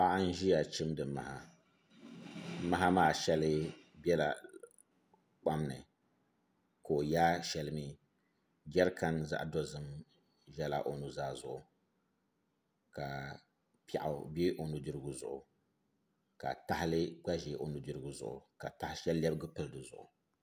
Paɣa n ʒiya chimdi maha maha maa shɛŋa bɛla kpam ni ka o yaai shɛli jɛrikan zaɣ dozim bɛla o nuzaa zuɣu ka piɛɣu bɛ o nudirigu zuɣu ka tahali gba ʒɛ o nudirigu zuɣu ka taha shɛli lebigi pili dizuɣu